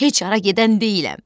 Heç hara gedən deyiləm.